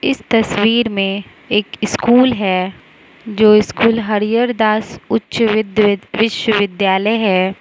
इस तस्वीर में एक स्कूल है जो स्कूल हरिहर दास उच्च विद्य वि विश्वविद्यालय है।